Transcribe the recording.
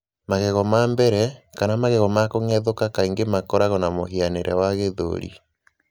Magego ma mbere, kana magego ma kũgethũka, kaingĩ makoragwo na mũhianĩre wa 'gĩthũri.'